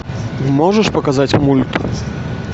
можешь показать мульт